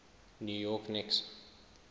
new york knicks